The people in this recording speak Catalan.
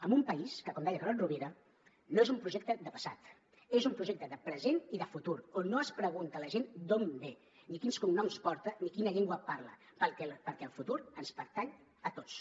amb un país que com deia carod rovira no és un projecte de passat és un projecte de present i de futur on no es pregunta la gent d’on ve ni quins cognoms porta ni quina llengua parla perquè el futur ens pertany a tots